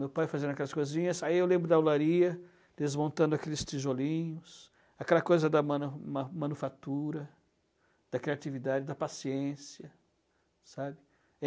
meu pai fazendo aquelas coisinhas, aí eu lembro da, desmontando aqueles tijolinhos, aquela coisa da manu man manufatura, da criatividade, da paciência, sabe?